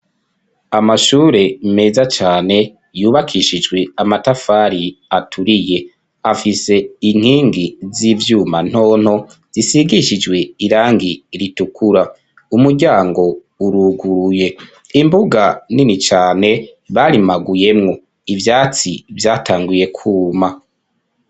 Amashure, meza cane, yubakishijwe amatafari, aturiye; afise inkingi z'ivyuma, ntonto, zisigishijwe irangi ritukura; umuryango uruguruye, imbuga nini cane, barimaguyemwo; ivyatsi vyatanguye kwuma.